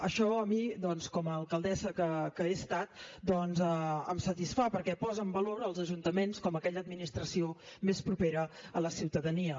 això a mi doncs com a alcaldessa que he estat em satisfà perquè posa en valor els ajuntaments com a aquella administració més propera a la ciutadania